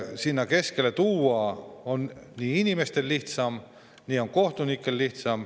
Sinna on nii inimestel lihtsam kui ka kohtunikel lihtsam.